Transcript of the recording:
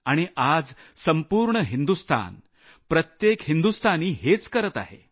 आणि आज संपूर्ण हिंदुस्थान प्रत्येक हिंदुस्थानी हेच करत आहे